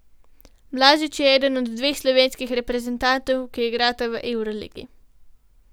Blažič je eden dveh slovenskih reprezentantov, ki igrata v evroligi.